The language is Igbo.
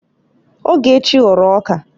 Ogechi ghọrọ ọka